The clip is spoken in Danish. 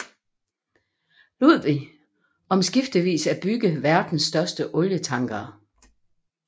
Ludwig om skiftevis at bygge verdens største olietankere